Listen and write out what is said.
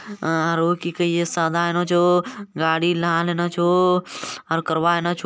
आरो की कहिये सादानो छो गाड़ी लान हन छो और करवानो छो ।